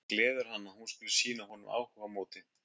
Það gleður hann að hún skuli sýna honum áhuga á móti.